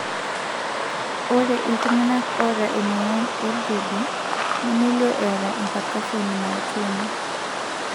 Ore iltung'anak oata emuoyian eBrody nemelio eata empercussion myotonia.